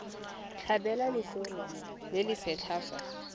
tlhabelwa letshoroma le lesetlha fa